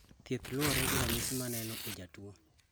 Thieth luore gi ranyisi moneno e jatuo